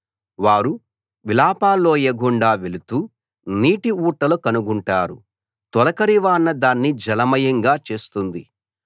వారు విలాప లోయగుండా వెళుతూ నీటి ఊటలు కనుగొంటారు తొలకరి వాన దాన్ని జలమయంగా చేస్తుంది